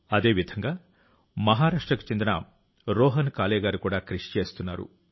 అదేవిధంగా మహారాష్ట్రకు చెందిన రోహన్ కాలే గారు కూడా కృషి చేస్తున్నారు